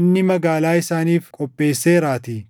inni magaalaa isaaniif qopheesseeraatii.